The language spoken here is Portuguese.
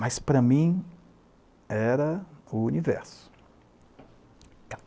Mas, para mim, era o universo.